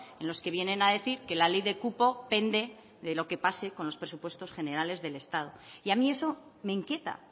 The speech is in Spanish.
en los que vienen a decir que la ley de cupo pende de la que pase con los presupuestos generales del estado y a mí eso me inquieta